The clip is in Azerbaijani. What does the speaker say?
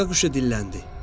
Saqqa quşu dilləndi: